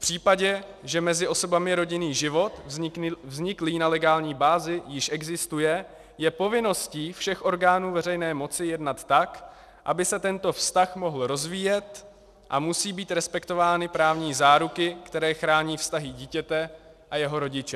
V případě, že mezi osobami rodinný život vzniklý na legální bázi již existuje, je povinností všech orgánů veřejné moci jednat tak, aby se tento vztah mohl rozvíjet, a musí být respektovány právní záruky, které chrání vztahy dítěte a jeho rodiče.